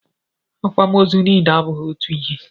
Akwamozu niile abụghị otu ihe.